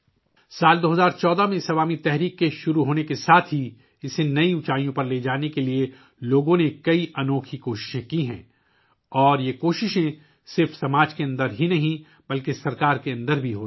سال 2014 ء میں اس عوامی تحریک کے آغاز سے لے کر اب تک عوام کی جانب سے اسے نئی بلندیوں پر لے جانے کے لیے بہت سی انوکھی کوششیں کی گئی ہیں اور یہ کوششیں نہ صرف معاشرے کے اندر بلکہ حکومت کے اندر بھی ہو رہی ہیں